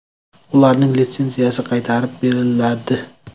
Ularning litsenziyasi qaytarib beriladi.